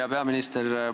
Hea peaminister!